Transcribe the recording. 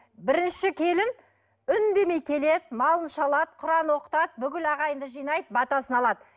бірінші келін үндемей келеді малын шалады құран оқытады бүкіл ағайынды жинайды батасын алады